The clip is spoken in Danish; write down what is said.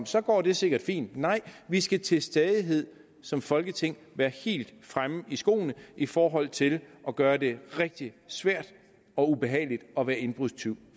så går det sikkert fint nej vi skal til stadighed som folketing være helt fremme i skoene i forhold til at gøre det rigtig svært og ubehageligt at være indbrudstyv